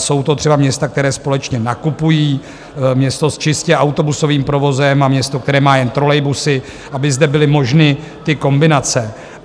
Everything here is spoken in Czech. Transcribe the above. Jsou to třeba města, která společně nakupují, město s čistě autobusovým provozem a město, které má jen trolejbusy, aby zde byly možné ty kombinace.